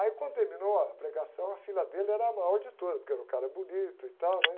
Aí quando terminou a pregação, a fila dele era a maior de todas, porque era um cara bonito e tal, né?